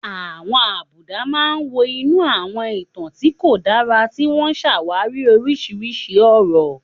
Àwọn àbùdá máa ń wọ inú àwọn ìtàn tí kò dára, tí wọ́n ń ṣàwárí oríṣiríṣi ọ̀rọ̀.